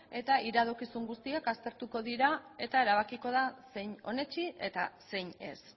eta iradokizun guztiak aztertuko dira eta erabakiko da zein onetsi eta zein ez